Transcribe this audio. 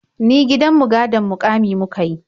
Ni gidan mu gadon muƙami muka yi.